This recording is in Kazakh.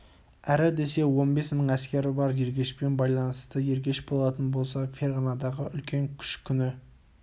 әрі десе он бес мың әскері бар ергешпен байланысты ергеш болатын болса ферғанадағы үлкен күш күні